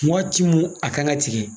Wagati mun a kan ka tigɛ